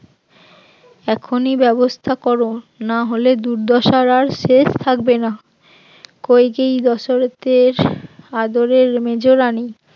এখনই ব্যবস্থা কর না হলে দুর্দশার আর শেষ থাকবে না, কইকেয়ীই দশরথের আদরের মেজরানী